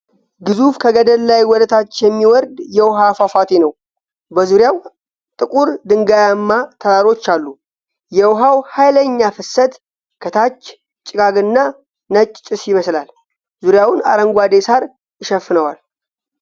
ግዙፍ ከገደል ላይ ወደ ታች የሚወርድ የውሃ ፏፏቴ ነው። በዙሪያው ጥቁር ድንጋያማ ተራሮች አሉ። የውሃው ኃይለኛ ፍሰት ከታች ጭጋግና ነጭ ጭስ ይመስላል። ዙሪያውን አረንጓዴ ሳር ይሸፍነዋል።